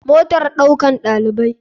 Motar ɗaukan ɗalibai.